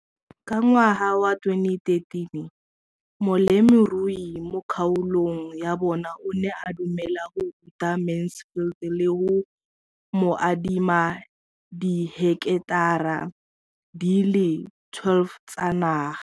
Ka ngwaga wa 2013, molemirui mo kgaolong ya bona o ne a dumela go ruta Mansfield le go mo adima di heketara di le 12 tsa naga.